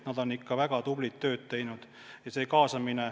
Nad on ikka väga tublit tööd teinud!